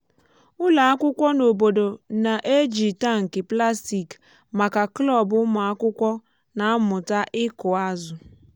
ụlọ akwụkwọ n’obodo na-eji tankị plastik maka klọb ụmụakwụkwọ na-amụta ịkụ azụ.